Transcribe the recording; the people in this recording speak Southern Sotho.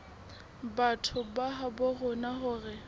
batho ba habo rona hore